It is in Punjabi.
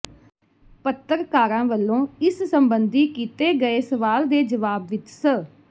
ਪੱਤਰਕਾਰਾਂ ਵੱਲੋਂ ਇਸ ਸਬੰਧੀ ਕੀਤੇ ਗਏ ਸਵਾਲ ਦੇ ਜਵਾਬ ਵਿੱਚ ਸ